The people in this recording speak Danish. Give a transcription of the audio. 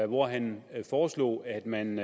hvor han foreslog at man